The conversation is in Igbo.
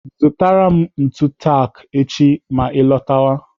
Zụtara m ntu tak echi ma ị lọtọwa.